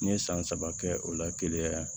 N ye san saba kɛ o la keleya yan